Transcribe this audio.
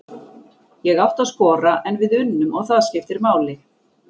Ég átti að skora en við unnum og það skiptir máli!